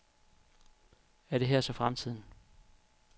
Er det her så fremtiden?